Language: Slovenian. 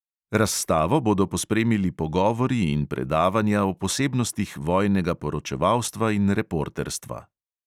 Razstavo bodo pospremili pogovori in predavanja o posebnostih vojnega poročevalstva in reporterstva.